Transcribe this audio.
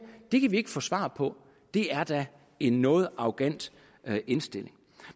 at det kan vi ikke få svar på er da en noget arrogant indstilling